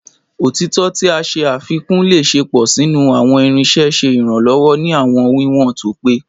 Otitọ ti a ṣe afikun le ṣepọ sinu awọn irinṣẹ, ṣe iranlọwọ ni awọn wiwọn to pe